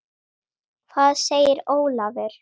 Hvað segir Ólafur?